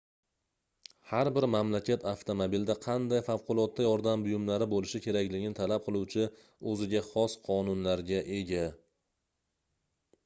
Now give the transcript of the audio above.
har bir mamlakat avtomobilda qanday favqulodda yordam buyumlari boʻlishi kerakligini talab qiluvchi oʻziga xos qonunlarga ega